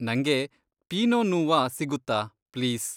ನಂಗೆ ಪೀನೊ ನೂವಾ ಸಿಗುತ್ತಾ, ಪ್ಲೀಸ್.